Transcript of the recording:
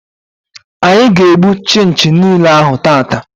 Anyị ga-egbu chinchi niile ahụ tata.